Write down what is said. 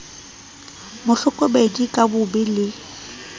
mo hlokomedisa ka bobe le